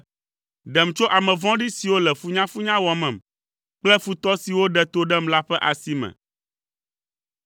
ɖem tso ame vɔ̃ɖi siwo le funyafunya wɔmem kple futɔ siwo ɖe to ɖem la ƒe asi me.